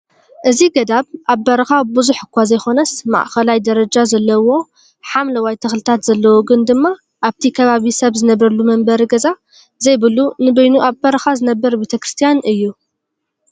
እዚ ገዳብ ኣብ በረካ ብዙሕ እኳ ዘይኮነስ ማእኸላይ ደረጃ ዘለዎ ሓምለዋይ ተክልታት ዘለዎ ግን ድማ ኣብቲ ከባቢ ሰብዝነብረሉ መንበሪ ገዛ ዘይብሉ ንበይኑ ኣብ በረካ ዝነብር ቤተክርስትያን እዩ፡፡